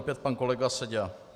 Opět pan kolega Seďa.